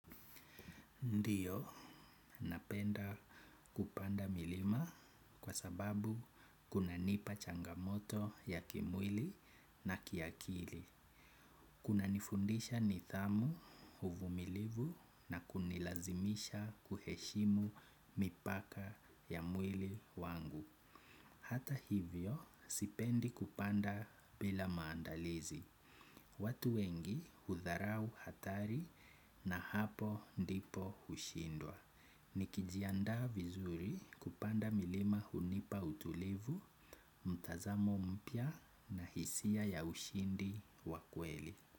Ndiyo, napenda kupanda milima kwa sababu kunanipa changamoto ya kimwili na kiakili. Kunanifundisha nidhamu uvumilivu na kunilazimisha kuheshimu mipaka ya mwili wangu. Hata hivyo, sipendi kupanda bila maandalizi. Watu wengi hudharau hatari na hapo ndipo hushindwa. Nikijianda vizuri kupanda milima hunipa utulivu, mtazamo mpya na hisia ya ushindi wa kweli.